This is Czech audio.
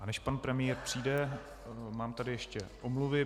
A než pan premiér přijde, mám tady ještě omluvy.